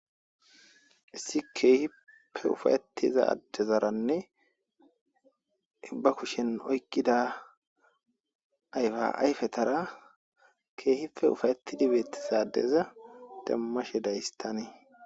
Issi keehippe ufa'etida addezaranne i ba kushen oykidda ayfa ayfetara keehippe ufa'etidi beetiza addeza demmashe days tani.